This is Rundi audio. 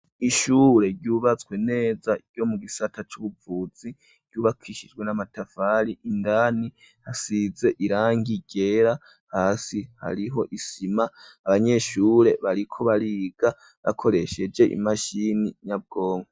ishure ryubatswe neza ryo mu gisata c,ubuvuzi ryubakishijwe n'amatafari indani hasize irangi ryera hasi hariho isima abanyeshure bariko bariga bakoresheje imashini nyabwonko